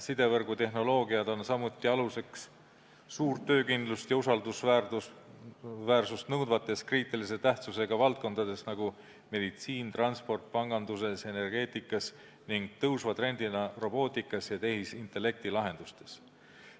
Sidevõrgu tehnoloogiad on aluseks ka suurt töökindlust ja usaldusväärsust nõudvates kriitilise tähtsusega valdkondades, näiteks meditsiinis, transpordis, panganduses ja energeetikas ning tõusva trendina robootikas ja tehisintellekti lahendustes.